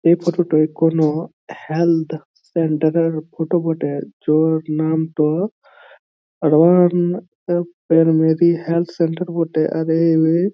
এই ফটো টো কোনো হেলথ সেন্টার এর ফটো বটে যার নাম টো মোদী হেল্থ সেন্টার বটে